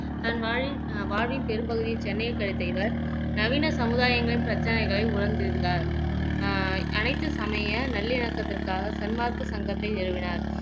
தன் வாழ் வாழ்வின் அஹ் வாழ்வின் பெரும்பகுதி சென்னையில் கழித்த இவர் நவீன சமுதாயங்களின் பிரச்சனைகளை உணர்ந்திருந்தார் அஹ் அனைத்து சமய நல்லிணக்கத்திற்காக சன்மார்க்க சங்கத்தை நிறுவினார்